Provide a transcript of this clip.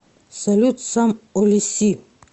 салют сам о лиси